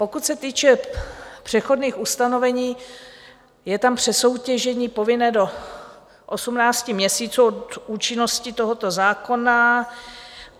Pokud se týče přechodných ustanovení, je tam přesoutěžení povinné do 18 měsíců od účinnosti tohoto zákona.